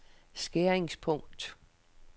skæringspunkt